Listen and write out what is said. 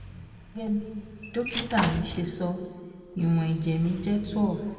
gẹ́gẹ́ bí dókítà mi ṣe sọ ìwọ̀n ẹ̀jẹ̀ mi jẹ́ twelve